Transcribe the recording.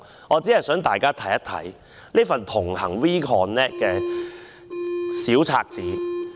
我只想大家看看這一份"同行 We Connect" 的單張。